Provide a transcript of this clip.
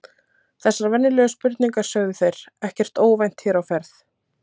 Þessar venjulegu spurningar sögðu þeir, ekkert óvænt hér á ferð